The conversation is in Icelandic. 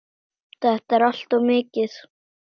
Þetta er allt of mikið!